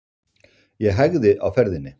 Ég hægði á ferðinni.